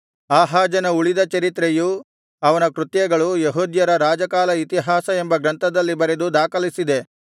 ಆಹಾಜನ ಉಳಿದ ಚರಿತ್ರೆಯೂ ಅವನ ಕೃತ್ಯಗಳೂ ಯೆಹೂದ್ಯರ ರಾಜಕಾಲ ಇತಿಹಾಸ ಎಂಬ ಗ್ರಂಥದಲ್ಲಿ ಬರೆದು ದಾಖಲಿಸಿದೆ